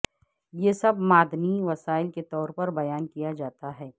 یہ سب معدنی وسائل کے طور پر بیان کیا جاتا ہے